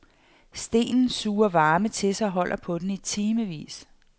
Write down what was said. Stenen suger varme til sig og holder på den i timevis.